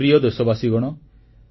ମୋର ପ୍ରିୟ ଦେଶବାସୀଗଣ